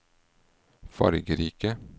fargerike